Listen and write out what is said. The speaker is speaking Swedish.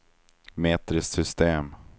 metriskt system